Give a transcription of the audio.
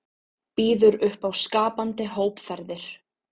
Býður upp á skapandi hópferðir